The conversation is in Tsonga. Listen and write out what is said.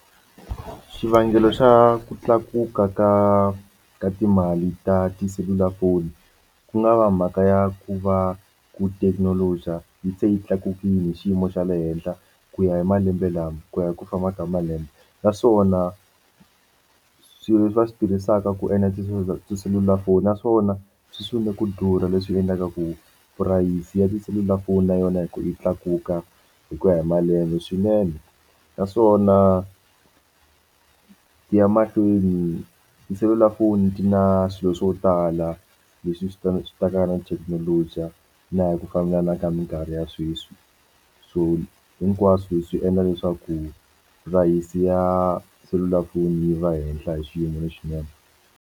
Xivangelo xa ku tlakuka ka ka timali ta tiselulafoni ku nga va mhaka ya ku va ku thekinoloji a yi se yi tlakukile hi xiyimo xa le henhla ku ya hi malembe lama ku ya hi ku famba ka malembe naswona swilo leswi va swi tirhisaka ku endla tiselulafoni naswona swi swi ni ku durha leswi endlaka ku tipurayisi ya tiselulafoni na yona hi ku yi tlakuka hi ku ya hi malembe swinene naswona ti ya mahlweni tiselulafoni ti na swilo swo tala leswi swi ta swi ta ka na thekinoloji na hi ku famba na ka mikarhi ya sweswi so hinkwaswo swi endla leswaku purayisi ya selulafoni yi va henhla hi xiyimo lexinene.